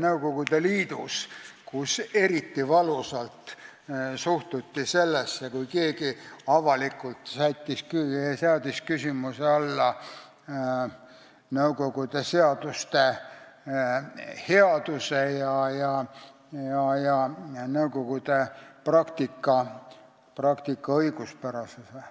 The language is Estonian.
Nõukogude Liidus, kus eriti valusalt suhtuti sellesse, kui keegi avalikult seadis küsimuse alla Nõukogude seaduste headuse ja Nõukogude praktika õiguspärasuse.